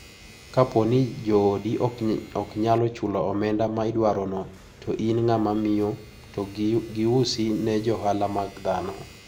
Kapo nj joodi ok nyalo chulo omenda ma idwarono to in ng`ama miyo to giusi ne johala mag dhano.